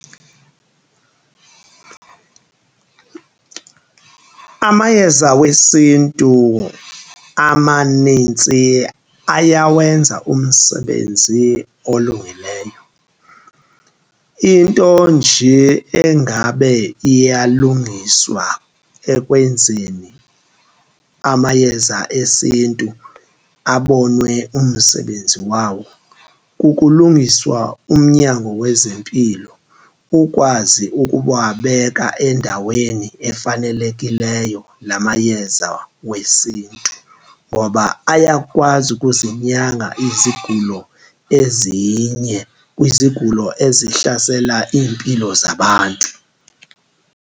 Amayeza wesiNtu amanintsi ayawenza umsebenzi olungileyo, into nje engabe iyalungiswa ekwenzeni amayeza esiNtu abonwe umsebenzi wawo kukulungiswa umnyango wezempilo ukwazi ukuwabeka endaweni efanelekileyo la mayeza wesiNtu. Ngoba ayakwazi ukuzinyanga izigulo ezinye kwizigulo ezihlasela iimpilo zabantu.